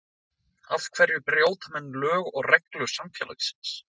Af hverja brjóta menn lög og reglur samfélagsins?